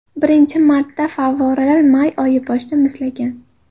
Birinchi marta favvoralar may oyi boshida muzlagan.